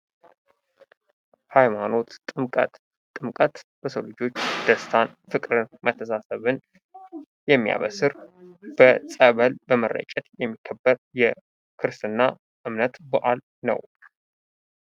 ሃይማኖት ጥምቀት ጥምቀት በሰው ልጆች ደስታን ፍቅርን በተሳሰብን የሚያበስር ፀበል በመረጨት የሚከበር የክርስትና እምነት በአል ነው።